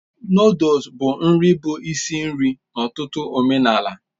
Nụ́dúls bụ nri bụ isi nri n'ọtụtụ omenala